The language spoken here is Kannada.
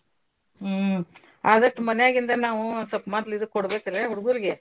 ಹ್ಮ್ ಆದಷ್ಟ್ ಮನ್ಯಗಿಂದ ನಾವು ಸ್ವಲ್ಪ್ ಮಡ್ಲ್ ಇದು ಕೋಡ್ಬೇಕ್ರಾ ಹುಡ್ಗುರ್ಗೆ.